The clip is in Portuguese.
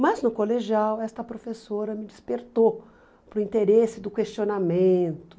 Mas, no colegial, esta professora me despertou para o interesse do questionamento.